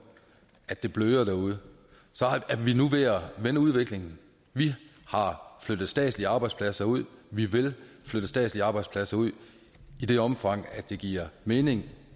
at det bløder derude så er vi nu ved at vende udviklingen vi har flyttet statslige arbejdspladser ud vi vil flytte statslige arbejdspladser ud i det omfang det giver mening